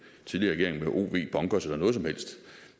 tidligere regering